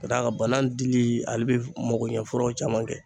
K'a d'a ka banan dili ale be magoɲɛ furaw caman kɛ.